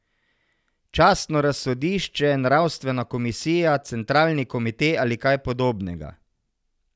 Častno razsodišče, nravstvena komisija, centralni komite ali kaj podobnega.